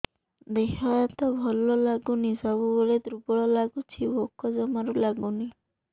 ଦେହ ହାତ ଭଲ ଲାଗୁନି ସବୁବେଳେ ଦୁର୍ବଳ ଲାଗୁଛି ଭୋକ ଜମାରୁ ଲାଗୁନି